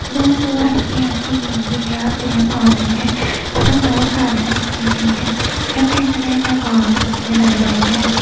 दूर दूर हलकी हलकी ग्रीनरी है और पेड़ पौधे है इधर दूर काली मिट्टी भी है सब दिखने में बहुत अच्छे भी लग रहे हैं |